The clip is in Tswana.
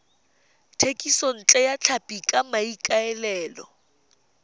thekisontle ya tlhapi ka maikaelelo